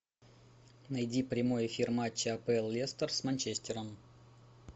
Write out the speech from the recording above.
найди прямой эфир матча апл лестер с манчестером